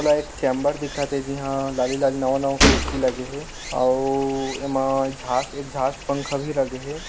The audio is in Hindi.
एक चेंबर दिखत हे जीहां लाली- लाली नवा नवा कुर्सी लगे हे आउ एमा झास एग्जास्ट पंखा भी लगे हे।